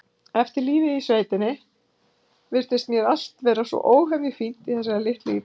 Eftir lífið í sveitinni virtist mér allt vera svo óhemju fínt í þessari litlu íbúð.